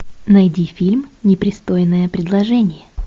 найди фильм непристойное предложение